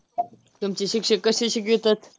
तुमचे शिक्षक कसे शिकवितात.